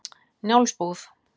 Njálsbúð